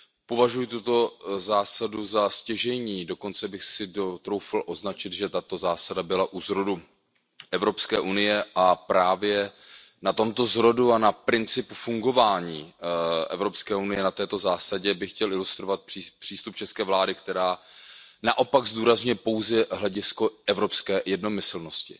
Považuji tuto zásadu za stěžejní, dokonce bych si troufl označit, že tato zásada byla u zrodu EU, a právě na tomto zrodu a na principu fungování EU, na této zásadě bych chtěl ilustrovat přístup české vlády, která naopak zdůrazňuje pouze hledisko evropské jednomyslnosti